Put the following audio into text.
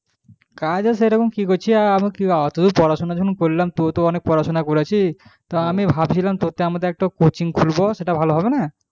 কাজ এরকম কি করছিস এখন পড়াশুনা করলাম টু তো অনেক পড়াশুনা করেছিস তো ভাবছিলাম একটা coaching খুলবো সেটা ভালো হবে না?